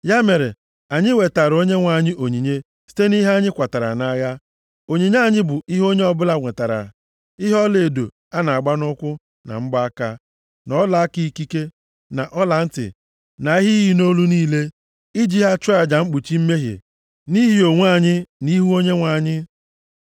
Ya mere, anyị wetaara Onyenwe anyị onyinye site nʼihe anyị kwatara nʼagha. Onyinye anyị bụ ihe onye ọbụla nwetara, ihe ọlaedo a na-agba nʼụkwụ na mgbaaka, na ọlaaka ikike, na ọlantị na ihe iyi nʼolu niile, i ji ha chụọ aja mkpuchi mmehie nʼihi onwe anyị nʼihu Onyenwe anyị.”